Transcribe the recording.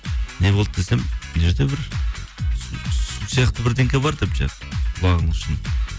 не болды десем мына жерде бір су сияқты бар деп жаңа құлағының ішін